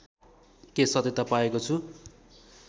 के सत्यता पाएको छु